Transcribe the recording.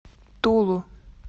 тулу